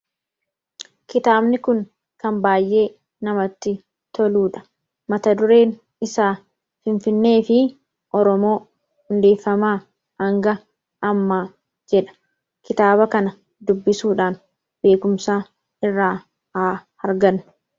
kitaabni kun kan baay'ee namatti toluudha mata dureen isaa finfinnee fi oromoo hundeeffamaa anga ammaa jedha kitaaba kana dubbisuudhaan beekumsa irraa haa argannu